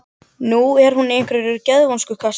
Nú er hún í einhverju geðvonskukasti.